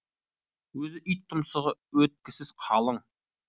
өзі ит тұмсығы өткісіз қалың